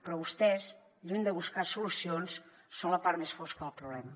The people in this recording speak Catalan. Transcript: però vostès lluny de buscar solucions són la part més fosca del problema